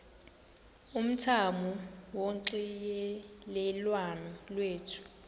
umthamo wonxielelwano lwethu